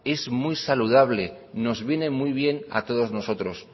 es muy saludable nos viene muy bien a todos nosotros